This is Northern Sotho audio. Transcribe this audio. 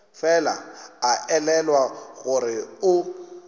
fela a elelwa gore o